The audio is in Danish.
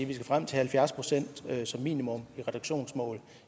vi skal frem til halvfjerds procent som minimum i reduktionsmål